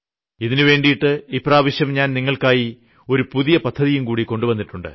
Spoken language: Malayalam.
ഇതിനുവേണ്ടി ഇപ്രാവശ്യം ഞാൻ നിങ്ങൾക്കായി ഒരു പുതിയ പദ്ധതിയുംകൂടി കൊണ്ടുവന്നിട്ടുണ്ട്